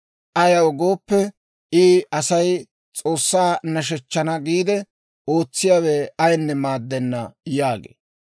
Ayaw gooppe, I, ‹Asay S'oossaa nashshechchana giide ootsiyaawe ayinne maaddenna› yaagee.